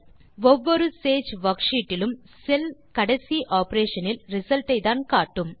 ஒவ்வொரு சேஜ் வர்க்ஷீட் டிலும் செல் கடைசி ஆப்பரேஷன் இன் ரிசல்ட்டைத்தான் காட்டும்